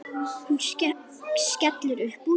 Hún skellir upp úr.